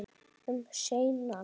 Um seinan?